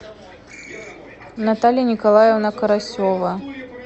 наталья николаевна карасева